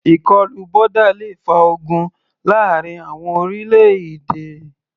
Ìkọlù boda le fa ogun láàrin àwọn orílẹ̀-èdè.